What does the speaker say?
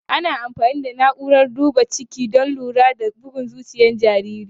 Ana amfani da na'urar duba ciki don lura da bugun zuciyar jariri.